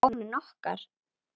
Hvað þá fáninn okkar.